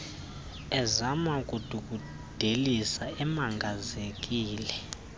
ezama ukudungudelisa ekwamangazekile